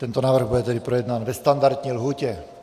Tento návrh bude tedy projednán ve standardní lhůtě.